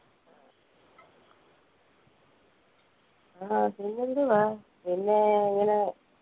ആ പിന്നെന്തുവാ പിന്നെ ഇങ്ങന